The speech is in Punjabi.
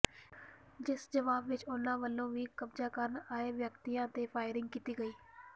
ਜਿਸ ਜਵਾਬ ਵਿੱਚ ਉਨ੍ਹਾਂ ਵੱਲੋਂ ਵੀ ਕਬਜ਼ਾ ਕਰਨ ਆਏ ਵਿਅਕਤੀਆਂ ਤੇ ਫਾਈਰਿੰਗ ਕੀਤੀ ਗਈ